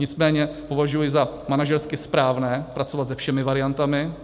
Nicméně považuji za manažersky správné pracovat se všemi variantami.